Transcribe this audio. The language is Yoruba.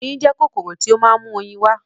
Oyin jẹ́ kòkòrò tí ó ma ń mú oyin wá